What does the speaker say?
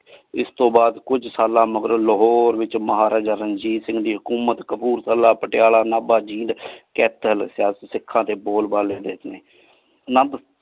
ਇਸ ਤੋ ਬਾਦ ਕੁਛ ਸਾਲਾ ਮਗਰੋ ਲਾਹੋਰੇ ਵਿਚ ਮਹਾਰਾਜਾ ਰਣਜੀਤ ਸਿੰਘ ਜੀ ਹਕੋਮਤ ਕਬੂਲ ਪਟਿਆਲਾ ਨਾਬਾ ਜੀਂਦ ਕਥਾ ਲਾਗ੍ਯ ਸੇ ਸਿਖਾ ਦੇ ਬੋਲ ਬਲੀ ਸੀਗੀ ਨਾਲ।